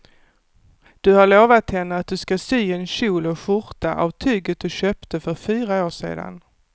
Du har lovat henne att du ska sy en kjol och skjorta av tyget du köpte för fyra år sedan.